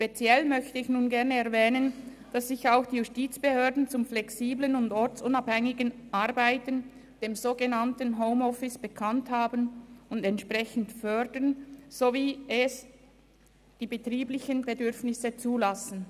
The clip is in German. Speziell möchte ich erwähnen, dass sich auch die Justizbehörden zum flexiblen und ortsunabhängigen Arbeiten, also zum sogenannten Homeoffice, bekannt haben und dies entsprechend fördern, soweit es die betrieblichen Bedürfnisse zulassen.